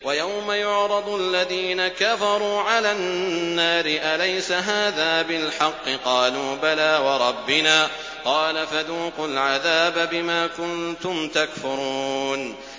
وَيَوْمَ يُعْرَضُ الَّذِينَ كَفَرُوا عَلَى النَّارِ أَلَيْسَ هَٰذَا بِالْحَقِّ ۖ قَالُوا بَلَىٰ وَرَبِّنَا ۚ قَالَ فَذُوقُوا الْعَذَابَ بِمَا كُنتُمْ تَكْفُرُونَ